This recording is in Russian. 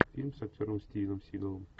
фильм с актером стивеном сигалом